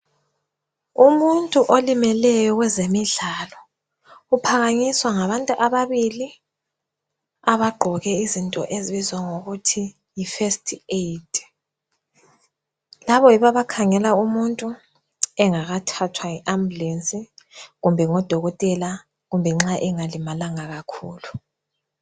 Umuntu olimeleyo kwezemidlalo uphakanyiswa ngabantu ababili abagqoke izinto ezibizwa ngokuthi yifirst aid, labo yibo abakhangela umuntu engakathathwa yiambulensi kumbe ngudokotela kumbe nxa engalimalanga kakhulu.